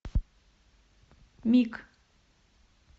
миг